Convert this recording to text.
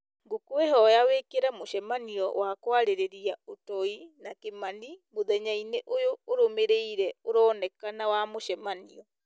ngũkwĩhoya wĩkĩre mũcemanio wa kwarĩrĩria ũtoi na kimani mũthenya-inĩ ũyũ ũrũmĩrĩire ũronekana wa mũcemanio